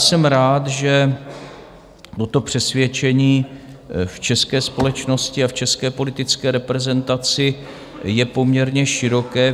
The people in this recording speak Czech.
Jsem rád, že toto přesvědčení v české společnosti a v české politické reprezentaci je poměrně široké.